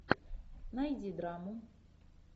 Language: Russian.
найди драму